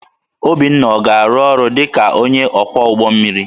Obinna ọ ga-arụ ọrụ dị ka onye ọkwọ ụgbọ mmiri?